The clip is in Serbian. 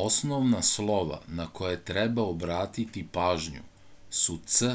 osnovna slova na koje treba obratiti pažnju su c